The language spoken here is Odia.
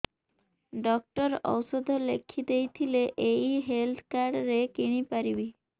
ଡକ୍ଟର ଔଷଧ ଲେଖିଦେଇଥିଲେ ଏଇ ହେଲ୍ଥ କାର୍ଡ ରେ କିଣିପାରିବି